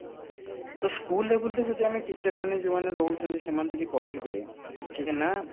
ତ school level ରେ ଯଦି ଆମେ teacher ମାନେ ଯୋଉମାନେ ରହୁଛନ୍ତି ସେମାନେ ବି ଟିକେ କହିବେ ଯେ ନା